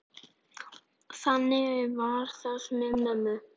Þannig var það með mömmu.